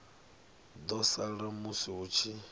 ḓo sala musi hu tshi